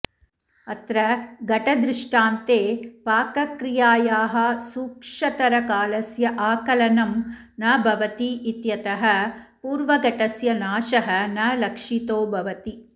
अत्र घटदृष्टान्ते पाकक्रियायाः सूक्षतरकालस्य आकलनं न भवतीत्यतः पूर्वघटस्य नाशः न लक्षितो भवति